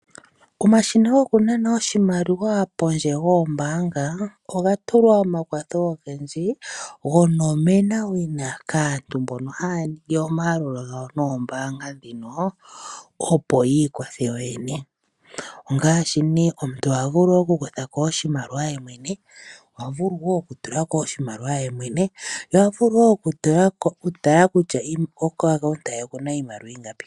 Omashina goku nana oshimaliwa pondje yoombaanga oga tulwa omakwatho ogendji, gonomenawina kaantu mbono haya ningi omayalulo gawo nombaanga dhino opo yi ikwathe yo yene. Ongaashi nee omuntu oha vulu okukutha ko oshimaliwa ye mwene, oha vulu woo okutulu ko oshimaliwa ye mwene, noha vulu woo okutala kutya kepandja lyaye oku na iimaliwa iingapi.